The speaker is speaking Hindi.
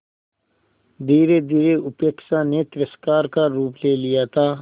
धीरेधीरे उपेक्षा ने तिरस्कार का रूप ले लिया था